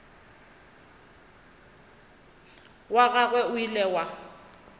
wa gagwe o ile wa